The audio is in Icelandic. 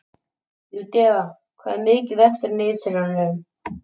Júdea, hvað er mikið eftir af niðurteljaranum?